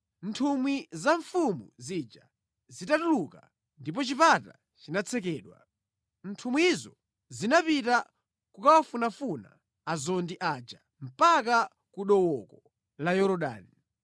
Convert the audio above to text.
Nthumwi za mfumu zija zitatuluka ndipo chipata chinatsekedwa. Nthumwizo zinapita kukawafunafuna azondi aja mpaka ku dooko la Yorodani.